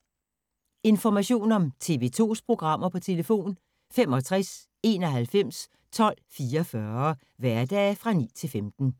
Information om TV 2's programmer: 65 91 12 44, hverdage 9-15.